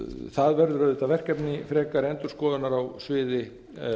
það verður auðvitað verkefni frekari endurskoðunar á sviði